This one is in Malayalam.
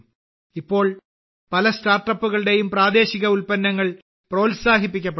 ഇപ്പോൾ പല സ്റ്റാർട്ടപ്പുകളും പ്രാദേശിക ഉൽപ്പന്നങ്ങൾ പ്രോത്സാഹിപ്പിക്കുന്നുണ്ട്